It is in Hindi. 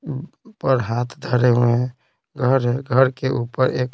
पर हाथ धरे हुए हैं घर है घर के ऊपर एक--